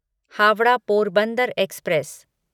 Howrah Porbandar express